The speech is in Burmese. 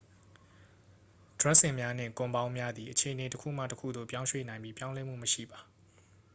ဒြပ်စင်များနှင့် ကွန်ပေါင်းများသည် အခြေအနေတစ်ခုမှတစ်ခုသို့ ပြောင်းရွှေ့နိုင်ပြီး ပြောင်းလဲမှုမရှိပါ